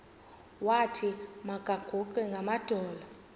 wathi makaguqe ngamadolo